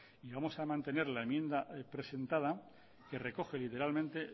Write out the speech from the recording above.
y vamos a mantener la enmienda presentada que recoge literalmente